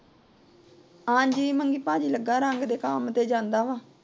ਹਾਂਜੀ ਮੰਗੀ ਭਾਜੀ ਲੱਗਾ ਏ, ਰੰਗ ਦੇ ਕੰਮ ਤੇ ਜਾਂਦਾ ਆ।